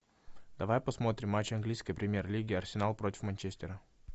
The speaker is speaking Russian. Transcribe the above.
давай посмотрим матч английской премьер лиги арсенал против манчестера